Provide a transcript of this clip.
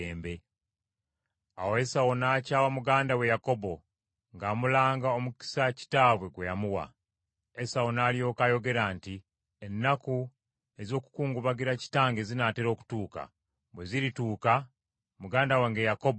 Awo Esawu n’akyawa muganda we Yakobo ng’amulanga omukisa kitaabwe gwe yamuwa. Esawu n’alyoka ayogera nti, “Ennaku ez’okukungubagira kitange zinaatera okutuuka. Bwe zirituuka, muganda wange Yakobo nga mutta.”